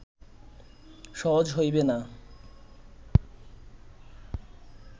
সহজ হইবে না